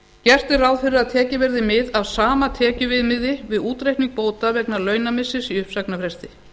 gert er ráð fyrir að tekið verði mið að sama tekjuviðmiði við útreikning bóta vegna launamissis í uppsagnarfresti